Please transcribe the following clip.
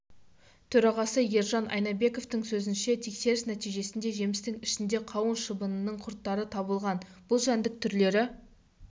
төрағасы ержан айнабековтың сөзінше тексеріс нәтижесінде жемістің ішінде қауын шыбынының құрттары табылған бұл жәндік түрлері